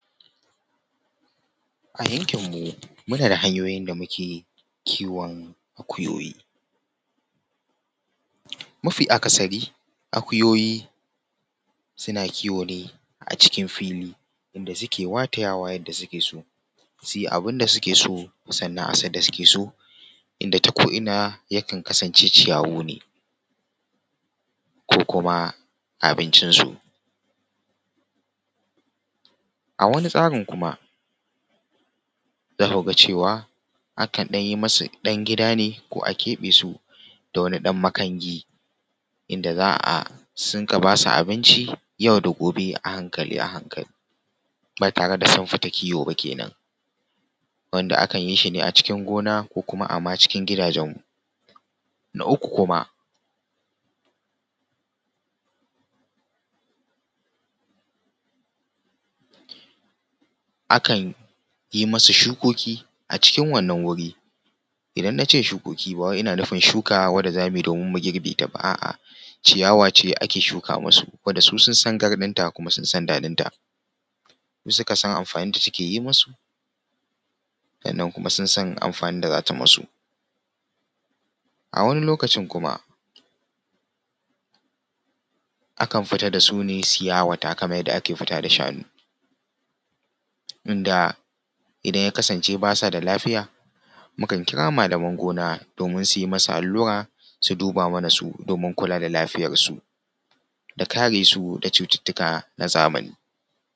A yankin mu, muna da hanyoyin da muke kiwon akuyoyi. Mafi akasari akuyoyi suna kiwo ne acikin fili inda suke watayawa yadda suke so, su yi abin da suke so sannan a sadda suke so inda ta ko’ina yakan kasance ciyawu ne ko kuma abincin su. A wani tsarin kuma za ku ga cewa akan ɗan yi masu ɗan gida ne ko a keɓe su da wani ɗan makangi inda za a rinƙa basu abinci yau da gobe a hankali a hankali ba tare da sun fita kiwo ba kenan, wanda akan yi shi ne a cikin gona ko kuma a ma cikin gidajen mu. Na uku kuma akan yi masu shukoki a cikin wannan wuri, idan na ce shukoki ba wai ina nufin shuka wanda zamu yi domin mu girbe ta ba a’a, ciyawa ce da ake shuka masu wanda su sun sa garɗin ta kuma sun san daɗin ta, su suka san amfanin da take yi masu sannan kuma sun san amfanin da za ta yi masu. Awani lokacin kuma akan fita da su ne su yawata kamar yadda ake fita da shanu, inda idan ya kasance basa da lafiya mukan kira malaman gona domin su yi masu allura su duba mana su domin kula da lafiyar su da kare su da cututtuka na zamani.